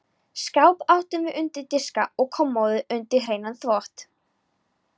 Skáp áttum við undir diska og kommóðu undir hreinan þvott.